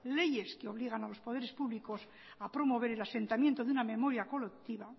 leyes que obligan a los poderes públicos a promover el asentamiento de una memoria colectiva